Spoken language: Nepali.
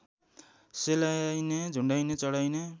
सेलाइने झुन्ड्याइने चढाइने